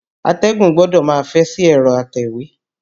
Atẹ́gùn gbọdọ̀ máa fẹ́ sí ẹ̀rọ atẹ̀wé.